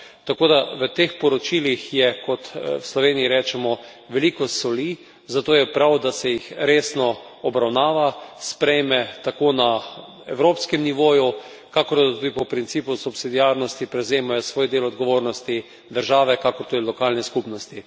Tako da v teh poročilih je, kot v Sloveniji rečemo, veliko soli, zato je prav, da se jih resno obravnava, sprejme tako na evropskem nivoju, kakor tudi po principu subsidiarnosti prevzemajo svoj del odgovornosti države kakor tudi lokalne skupnosti.